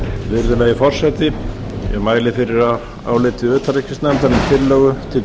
virðulegi forseti ég mæli fyrir áliti utanríkismálanefndar um tillögu til